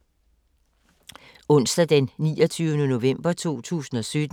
Onsdag d. 29. november 2017